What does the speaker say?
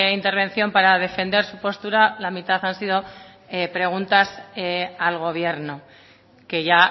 intervención para defender su postura la mitad han sido preguntas al gobierno que ya